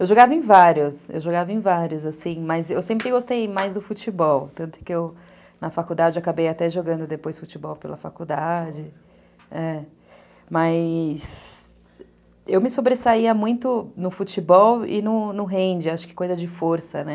Eu jogava em vários, eu jogava em vários, assim, mas eu sempre gostei mais do futebol, tanto que eu, que eu, na faculdade, acabei até jogando depois futebol pela faculdade, mas eu me sobressaía muito no futebol e no hand, acho que coisa de força, né?